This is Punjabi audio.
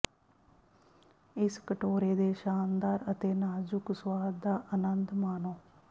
ਇਸ ਕਟੋਰੇ ਦੇ ਸ਼ਾਨਦਾਰ ਅਤੇ ਨਾਜ਼ੁਕ ਸੁਆਦ ਦਾ ਆਨੰਦ ਮਾਣੋ